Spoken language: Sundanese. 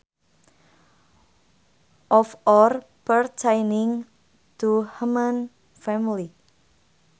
Of or pertaining to human family